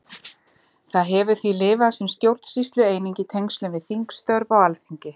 Það hefur því lifað sem stjórnsýslueining í tengslum við þingstörf á Alþingi.